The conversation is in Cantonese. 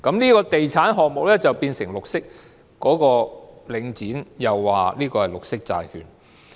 這個地產項目因而便成為"綠色"，領展亦指這是綠色債券。